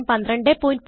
1204